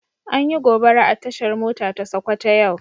An Yi gobara a tashar mota ta sokoto yau.